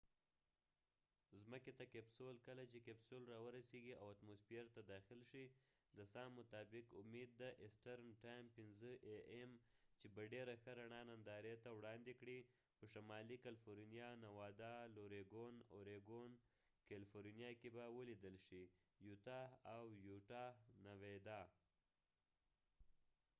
کله چې کپسول capsule ځمکې ته راورسیږی او اتموسفیر ته داخل شي د سام 5am eastern time مطابق ، امید دي چې به ډیره ښه رڼا ننداری ته وړاندي کړي په شمالی کېلفورنیا california، اوریګونoregon ،نوادا nevada او یوټا utah کې به ولیدل شي